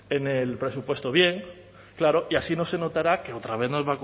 meteremos en el bien claro y así no se notará que otra vez